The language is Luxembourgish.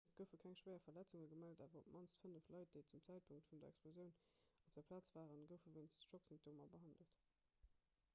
et goufe keng schwéier verletzunge gemellt awer op d'mannst fënnef leit déi zum zäitpunkt vun der explosioun op der plaz waren goufe wéinst schocksymptomer behandelt